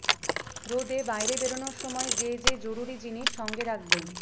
রোদে বাইরে বেরোনোর সময় যে যে জরুরি জিনিস সঙ্গে রাখবেন